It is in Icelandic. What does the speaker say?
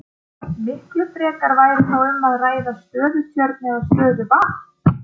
Miklu frekar væri þá um að ræða stöðutjörn eða stöðuvatn.